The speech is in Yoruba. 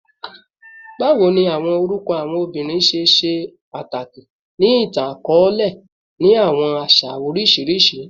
Bawo ni awọn orukọ awọn obinrin ṣe ṣe pataki ni itan-akọọlẹ ni awọn aṣa oriṣiriṣi?